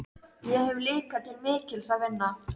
Föður mínum man ég ekki eins vel eftir og mömmu.